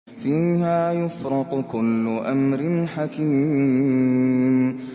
فِيهَا يُفْرَقُ كُلُّ أَمْرٍ حَكِيمٍ